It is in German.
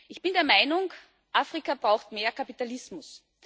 Ich bin der Meinung Afrika braucht mehr Kapitalismus.